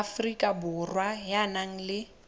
afrika borwa ya nang le